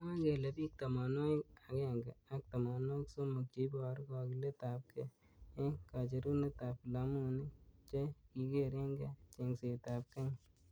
Mwae kele bik tamwanwakik akemge ak tamanwakik somok cheiboru kakilet ab kei eng kacherunet ab vilamuinik chekikereineng chengset ab kenya.